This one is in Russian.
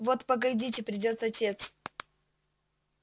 вот погодите придёт отец